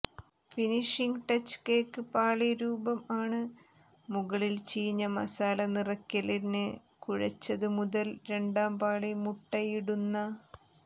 finishing touch cake പാളി രൂപം ആണ് മുകളിൽ ചീഞ്ഞ മസാലനിറയ്ക്കല് ന് കുഴെച്ചതുമുതൽ രണ്ടാം പാളി മുട്ടയിടുന്ന